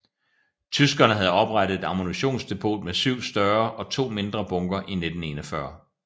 Tyskerne havde oprettet et ammunitionsdepot med 7 større og 2 mindre bunkere i 1941